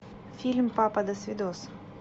фильм папа досвидос